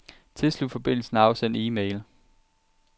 Tilslut forbindelsen og afsend e-mail.